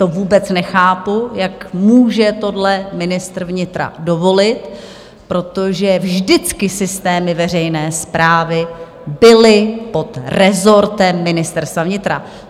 To vůbec nechápu, jak může tohle ministr vnitra dovolit, protože vždycky systémy veřejné správy byly pod rezortem Ministerstva vnitra.